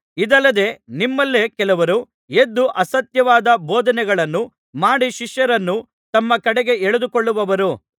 ಇದಲ್ಲದೆ ನಿಮ್ಮಲ್ಲೇ ಕೆಲವರು ಎದ್ದು ಅಸತ್ಯವಾದ ಬೋಧನೆಗಳನ್ನು ಮಾಡಿ ಶಿಷ್ಯರನ್ನು ತಮ್ಮ ಕಡೆಗೆ ಎಳೆದುಕೊಳ್ಳುವರು